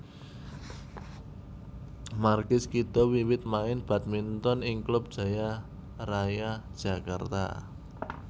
Markis Kido wiwit main badminton ing klub Jaya Raya Jakarta